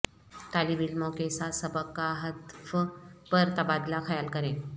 طالب علموں کے ساتھ سبق کا ہدف پر تبادلہ خیال کریں